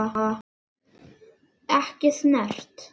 Ekki snert.